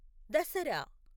Dasara